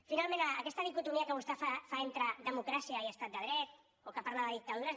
finalment aquesta dicotomia que vostè fa entre democràcia i estat de dret o que parla de dictadures